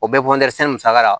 O bɛ musaka la